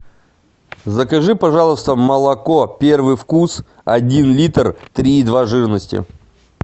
закажи пожалуйста молоко первый вкус один литр три и два жирности